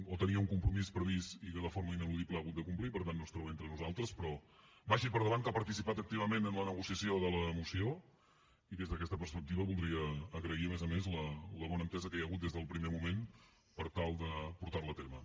o tenia un compromís previst i que de forma ineludible ha hagut de complir per tant no es troba entre nosaltres però vagi per endavant que ha participat activament en la negociació de la moció i des d’aquesta perspectiva voldria agrair a més a més la bona entesa que hi ha hagut des del primer moment per tal de portar la a terme